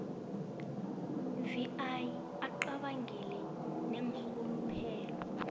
vi acabangele neenrhuluphelo